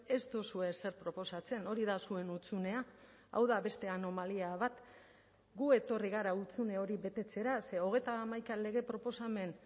ez duzue ezer proposatzen hori da zuen hutsunea hau da beste anomalia bat gu etorri gara hutsune hori betetzera ze hogeita hamaika lege proposamen